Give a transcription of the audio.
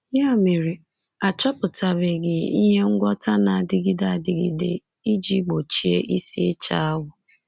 Ya mere, a chọpụtabeghị ihe ngwọta na-adịgide adịgide iji gbochie isi ịcha awọ.